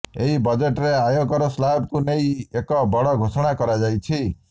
ଏହି ବଜେଟରେ ଆୟ କର ସ୍ଲାବକୁ ନେଇ ଏକ ବଡ ଘୋଷଣା କରାଯାଇଛି